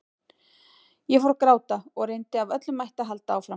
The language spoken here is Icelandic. Ég fór að gráta og reyndi af öllum mætti að halda áfram.